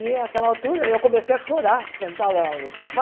E naquela altura eu comecei a chorar, sentada lá no sofá.